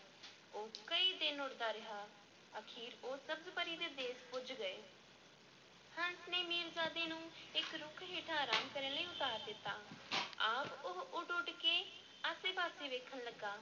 ਉਹ ਕਈ ਦਿਨ ਉੱਡਦਾ ਰਿਹਾ, ਅਖ਼ੀਰ ਉਹ ਸਬਜ਼-ਪਰੀ ਦੇ ਦੇਸ ਪੁੱਜ ਗਏ ਹੰਸ ਨੇ ਮੀਰਜ਼ਾਦੇ ਨੂੰ ਇੱਕ ਰੁੱਖ ਹੇਠਾਂ ਅਰਾਮ ਕਰਨ ਲਈ ਉਤਾਰ ਦਿੱਤਾ ਆਪ ਉਹ ਉੱਡ ਉੱਡ ਕੇ ਆਸੇ-ਪਾਸੇ ਵੇਖਣ ਲੱਗਾ।